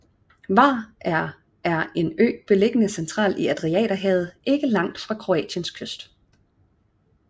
Hvar er er en ø beliggende centralt i Adriaterhavet ikke langt fra Kroatiens kyst